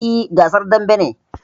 Eh, gasar dambe ne